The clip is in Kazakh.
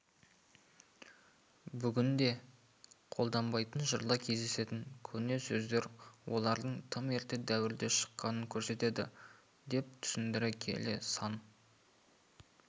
бүгінде қолданбайтын жырда кездесетін көне сөздер олардың тым ерте дәуірде шыққанын көрсетеді деп түсіндіре келе сан